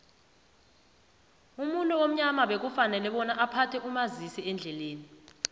umuntu omnyama bekafanele bonyana aphathe umazisiendlelani